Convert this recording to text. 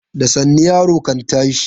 Da sannu yaro kan tashi.